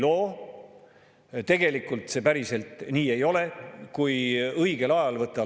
Ja ega ei saa ka vastust sellele küsimusele, miks just sellisel kujul maksuerandeid rakendatakse, 9%-lt 13%-le ja 5%-lt 9%-le.